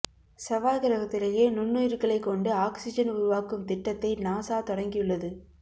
செவ்வாய் கிரகத்திலேயே நுண்ணுயிர்களைக் கொண்டு ஆக்சிஜன் உருவாக்கும் திட்டத்தை நாசா தொடங்கியுள்ளது